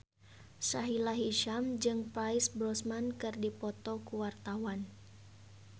Sahila Hisyam jeung Pierce Brosnan keur dipoto ku wartawan